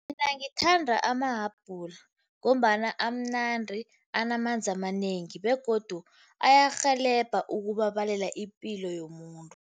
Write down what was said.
Mina ngithanda amahabhula, ngombana amnandi, anamanzi amanengi begodu ayarhelebha ukubabalela ipilo yomuntu.